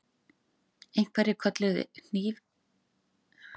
Einhverjir kölluðu hnýfilyrði til þeirra þar sem þeir sátu, aðrir hrópuðu hvatningarorð.